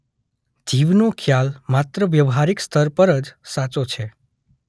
જીવનો ખ્યાલ માત્ર વ્યવહારિક સ્તર પર જ સાચો છે.